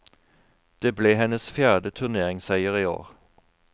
Det ble hennes fjerde turneringsseier i år.